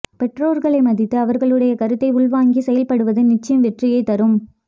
பெற்றோர்களை மதித்து அவர்களுடைய கருத்தை உள்வாங்கி செயல்படுவது நிச்சயம் வெற்றியைத் தரும்